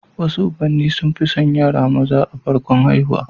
Wasu ubanni sun fi son yara maza a farkon haihuwa